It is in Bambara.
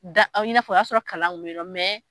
Da i nafɔ o ya sora kalan kun bɛ yen nɔ